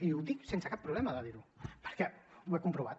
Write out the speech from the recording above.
i ho dic sense cap problema de dir ho perquè ho he comprovat